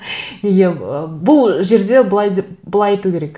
неге ы бұл жерде былай деп былай айту керек